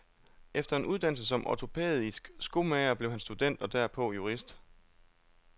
Efter en uddannelse som ortopædisk skomager blev han student og derpå jurist.